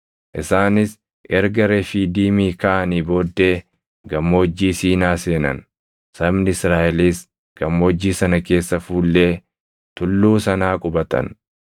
Isaanis erga Refiidiimii kaʼanii booddee Gammoojjii Siinaa seenan; sabni Israaʼelis Gammoojjii sana keessa fuullee tulluu sanaa qubatan.